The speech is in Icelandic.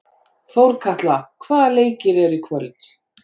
Þórkatla, hvaða leikir eru í kvöld?